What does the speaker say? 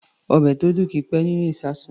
Ọbẹ̀ tó dùn kì í pẹ́ nínú ìṣasùn.